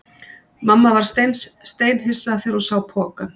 Mamma varð steinhissa þegar hún sá pokann.